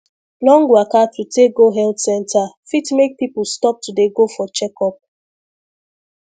long waka to take go health center fit make people stop to dey go for checkup